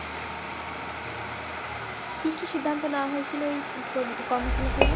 কি কি সিদ্ধান্ত নেওয়া হয়েছিল এই কর্ম শালা থেকে?